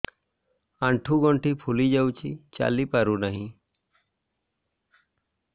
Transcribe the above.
ଆଂଠୁ ଗଂଠି ଫୁଲି ଯାଉଛି ଚାଲି ପାରୁ ନାହିଁ